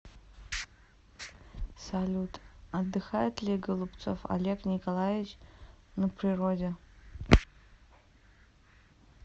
салют отдыхает ли голубцов олег николаевич на природе